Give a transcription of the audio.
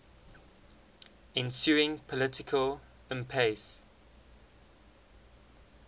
ensuing political impasse